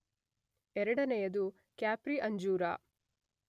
ಎರಡನೆಯದು ಕ್ಯಾಪ್ರಿ ಅಂಜೂರ.